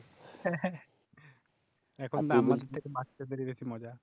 এখন তো আমাদের থেকে বাচ্চাদেরই বেশি মজা